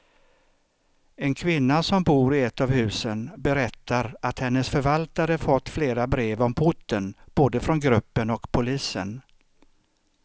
En kvinna som bor i ett av husen berättar att hennes förvaltare fått flera brev om porten, både från gruppen och polisen.